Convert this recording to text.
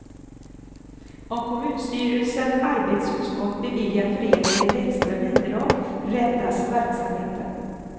Om kommunstyrelsen arbetsutskott beviljar föreningen ett extra bidrag räddas verksamheten.